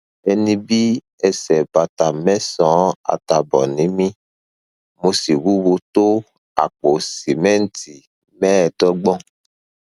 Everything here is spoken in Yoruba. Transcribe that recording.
ẹni bí ẹsẹ bàtà mẹsànán àtààbọ ni mí mo sì wúwo tó àpò sìmẹǹtì mẹẹẹdọgbọn